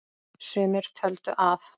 Sumir töldu að